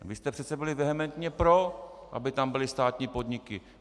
Vy jste přece byli vehementně pro, aby tam byly státní podniky.